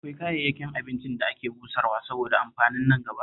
Akwai kayayyakin abincin da ake busarwa saboda amfanin nangaba